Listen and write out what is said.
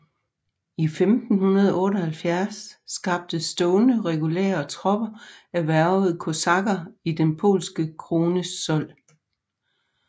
I 1578 skabtes stående regulære tropper af hvervede kosakker i den polske krones sold